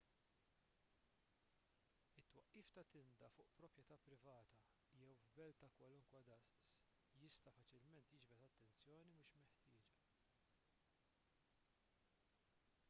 it-twaqqif ta' tinda fuq proprjetà privata jew f'belt ta' kwalunkwe daqs jista' faċilment jiġbed attenzjoni mhux mixtieqa